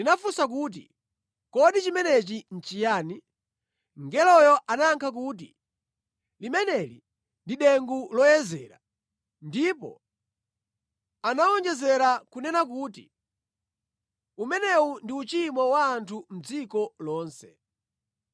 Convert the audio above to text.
Ndinafunsa kuti, “Kodi chimenechi nʼchiyani?” Mngeloyo anayankha kuti, “Limeneli ndi dengu loyezera.” Ndipo anawonjezera kunena kuti, “Umenewu ndi uchimo wa anthu mʼdziko lonse.”